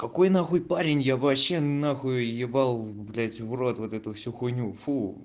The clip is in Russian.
какой на хуй парень я вообще на хуй ебал блять в рот вот эту всю хуйню фу